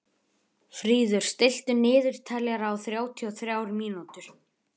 Fríður, stilltu niðurteljara á þrjátíu og þrjár mínútur.